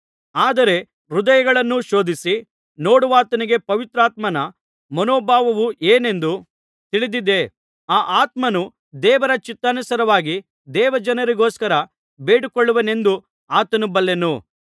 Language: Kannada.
ಆದರೆ ಹೃದಯಗಳನ್ನು ಪರಿಶೋಧಿಸಿ ನೋಡುವಾತನಿಗೆ ಪವಿತ್ರಾತ್ಮನ ಮನೋಭಾವವು ಏನೆಂದು ತಿಳಿದಿದೆ ಆ ಆತ್ಮನು ದೇವರ ಚಿತ್ತಾನುಸಾರವಾಗಿ ದೇವಜನರಿಗೋಸ್ಕರ ಬೇಡಿಕೊಳ್ಳುವನೆಂದು ಆತನು ಬಲ್ಲನು